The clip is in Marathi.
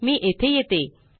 मी येथे येते